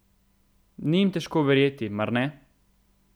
Ni jim težko verjeti, mar ne?